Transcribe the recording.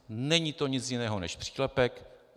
Není to nic jiného než přílepek.